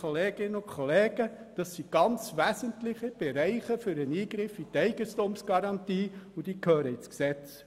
Das sind alles ganz wesentliche Eingriffe in die Eigentumsgarantie, und diese gehören ins Gesetz!